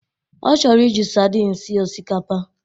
Ọ chọrọ iji sardin sie osikapa.